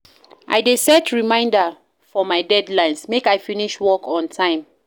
I dey set reminder for my deadlines, make I finish work on time